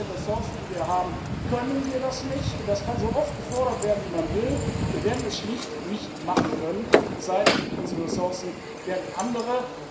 Mit den Ressourcen, die wir haben, können wir das nicht. Das kann man so oft fordern, wie man will, wir werden es schlicht nicht machen können, es sei denn, unsere Ressourcen werden andere.